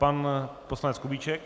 Pan poslanec Kubíček.